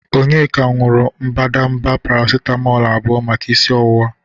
Onyeka nuru mbadamba paracitamolu abụọ maka isi ọwụwa.